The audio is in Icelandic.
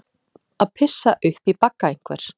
Að pissa upp í bagga einhvers